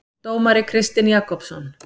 Dómari Kristinn Jakobsson.